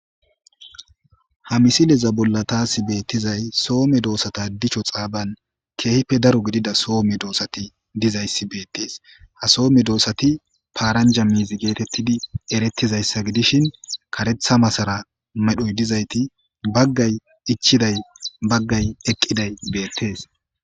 Ha missileza bolla tasi betizay soo meddosa dichcho xabban kehippe daro gidida soo meddosati dizayisi bettes ha soo meddosati parranja mizi getettidi eretizayisa gidishin kareththa masara medhdhoyi dizayiti baggayi ichidayi baggayi eqqidayi bettes.